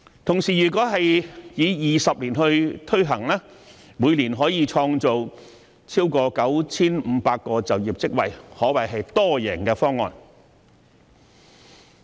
同時，如果以20年時間推行，每年便可以創造超過 9,500 個就業職位，可謂一項多贏方案。